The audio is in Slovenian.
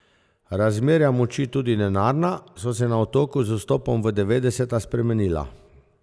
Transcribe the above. Razmerja moči, tudi denarna, so se na Otoku z vstopom v devetdeseta spremenila.